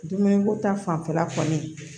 Dumuni ko ta fanfɛla kɔni